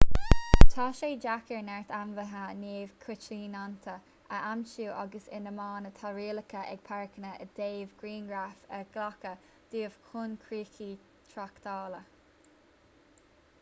tá sé deacair neart ainmhithe neamhchoitianta a aimsiú agus in amanna tá rialacha ag páirceanna i dtaobh grianghraif a ghlacadh dóibh chun críocha tráchtála